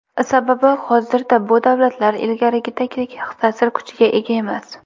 Sababi, hozirda bu davlatlar ilgarigidagidek ta’sir kuchiga ega emas.